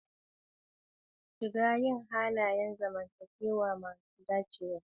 Shiga yin halayen zamantakewa masu dacewa.